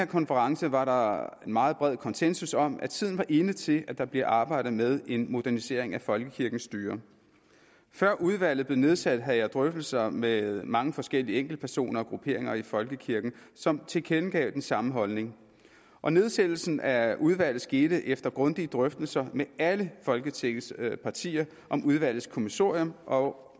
konference var der meget bred konsensus om at tiden er inde til at der bliver arbejdet med en modernisering af folkekirkens styre før udvalget blev nedsat havde jeg drøftelser med mange forskellige enkeltpersoner og grupperinger i folkekirken som tilkendegav den samme holdning og nedsættelsen af udvalget skete efter grundige drøftelser med alle folketingets partier om udvalgets kommissorium og